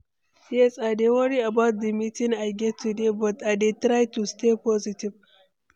yes, i dey worry about di meeting i get today, but i dey try to stay positive.